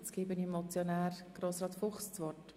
Ich gebe nun dem Mitmotionär Grossrat Fuchs das Wort.